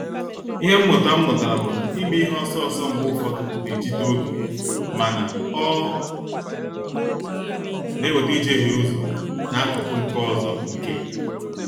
Ịhe mmụta m mụtara bụ na ime ihe ọsọ ọsọ mgbe ụfọdụ ná-ejide oge mana, ọ na-eweta ijehie ụzọ n'akụkụ nke ọzọ nke.